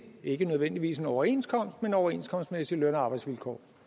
ikke nødvendigvis en overenskomst men overenskomstmæssige løn og arbejdsvilkår